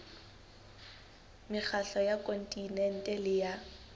mekgatlo ya kontinente le ya